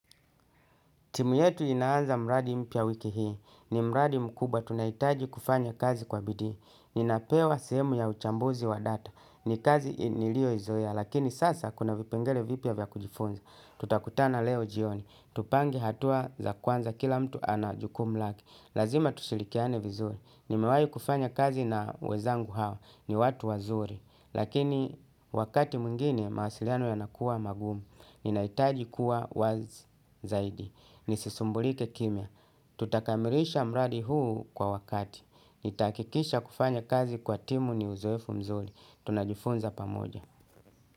Timu yetu inaanza mradi mpya wiki hii. Ni mradi mkubwa. Tunahitaji kufanya kazi kwa bidii. Ninapewa sehemu ya uchambuzi wa data. Ni kazi niliyoizoea. Lakini sasa kuna vipengele vipya vya kujifunza. Tutakutana leo jioni. Tupange hatua za kwanza kila mtu ana jukumu lake. Lazima tushirikiane vizuri. Nimewahi kufanya kazi na wenzangu hawa. Ni watu wazuri. Lakini wakati mwingine mawasiliano yanakuwa magumu. Ninahitaji kuwa wazi zaidi. Nisisumbulike kimya. Tutakamilisha mradi huu kwa wakati. Nitahakikisha kufanya kazi kwa timu ni uzoefu mzuri. Tunajifunza pamoja.